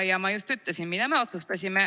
Ja ma just ütlesin, mida me otsustasime.